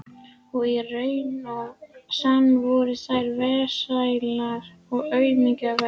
Og í raun og sann voru þær vesælar og aumkunarverðar.